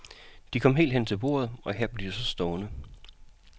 De kom helt hen til bordet, og her blev de så stående.